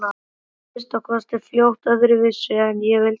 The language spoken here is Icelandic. Urðu að minnsta kosti fljótt öðruvísi en ég vildi.